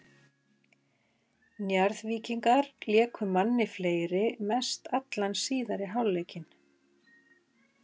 Njarðvíkingar léku manni fleiri mest allan síðari hálfleikinn.